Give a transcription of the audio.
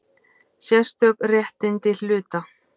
Sérstök réttindi hluta.